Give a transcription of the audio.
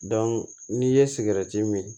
n'i ye sigɛrɛti min